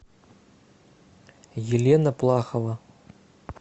елена плахова